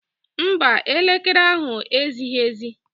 Mba, elekere ahụ ezighi ezi.